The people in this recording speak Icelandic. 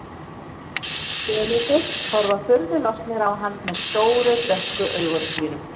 Selirnir horfa furðu lostnir á hann með stóru dökku augunum sínum.